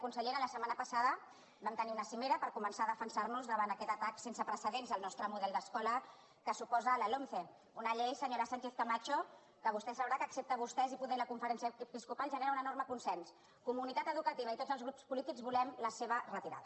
consellera la setmana passada vam tenir una cimera per començar a defensar nos davant aquest atac sense precedents al nostre model d’escola que suposa la lomce una llei senyora sánchez camacho que vostè deu saber que excepte per vostès i poder la conferència episcopal genera un enorme consens comunitat educativa i tots els grups polítics volem la seva retirada